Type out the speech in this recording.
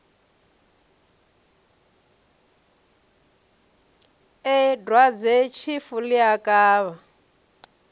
ee dwadzetshifu ḽi a kavha